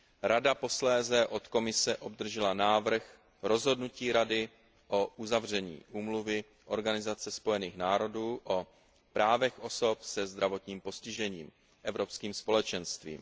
Rada posléze od Komise obdržela návrh rozhodnutí Rady o uzavření Úmluvy Organizace spojených národů o právech osob se zdravotním postižením Evropským společenstvím.